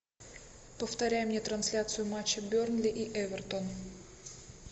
повторяй мне трансляцию матча бернли и эвертон